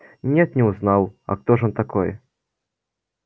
нет не узнал а кто ж он такой